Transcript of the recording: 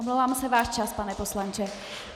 Omlouvám se, váš čas, pane poslanče.